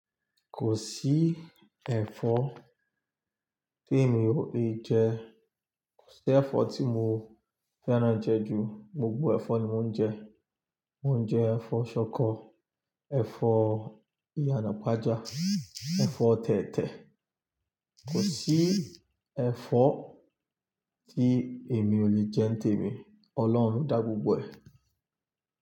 Kò sí ẹ̀fọ́ tí èmi ò lè jẹ, kò sí ẹ̀fọ́ tí mo fẹ́ràn jẹ ju, gbogbo ẹ̀fọ́ ni mo ń jẹ. Mo n jẹ ẹfọ ṣọkọ ẹfọ iyanapaja, ẹfọ tẹtẹ. Kò sí ẹ̀fọ́ tí èmi ò lè jẹ n tèmi, Ọlọ́run lo dá gbogbo ẹ̀.